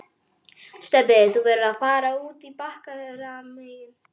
Stebbi, þú verður að fara út bakdyramegin